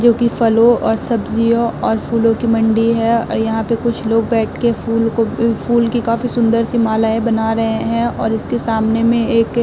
जोकि फलों और सब्ज़ियों और फूलों की मंडी है और यहां पे कुछ लोग बैठ के फूल को फूल की काफी सुंदर-सी मालाएं बना रहे हैं और इसके सामने में एक --